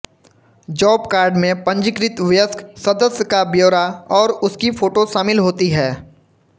job card में पंजीकृत वयस्क सदस्य का ब्यौरा और उसकी फोटो शामिल होती है